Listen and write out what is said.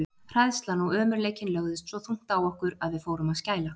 Hræðslan og ömurleikinn lögðust svo þungt á okkur, að við fórum að skæla.